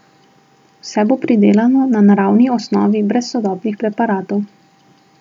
Vse bo pridelano na naravni osnovi brez sodobnih preparatov.